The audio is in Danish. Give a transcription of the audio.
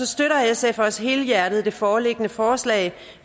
støtter sf også helhjertet det foreliggende forslag